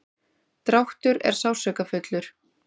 dráttur er sársaukafullur.